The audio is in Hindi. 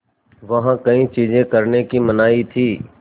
वहाँ कई चीज़ें करने की मनाही थी